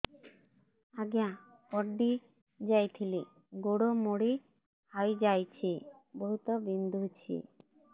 ଆଜ୍ଞା ପଡିଯାଇଥିଲି ଗୋଡ଼ ମୋଡ଼ି ହାଇଯାଇଛି ବହୁତ ବିନ୍ଧୁଛି